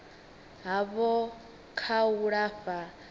havho kha u lafha ha